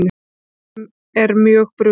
En mönnum er mjög brugðið.